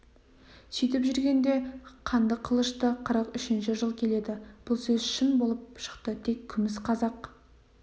сөйтіп жүргенде қанды қылышты қырық үшінші жыл келеді бұл сөз шын болып шықты тек күміс қазақ